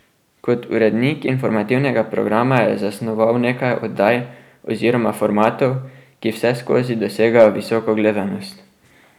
Kot urednik informativnega programa je zasnoval nekaj oddaj oziroma formatov, ki vseskozi dosegajo visoko gledanost.